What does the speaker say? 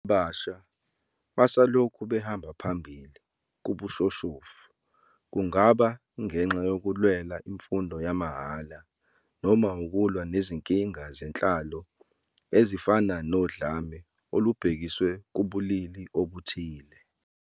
Abasha basalokhu behamba phambili kubushoshovu, kungaba ngenxa yokulwela imfundo yamahhala noma ukulwa nezinkinga zenhlalo ezifana nodlame olubhekiswe kubulili obuthile.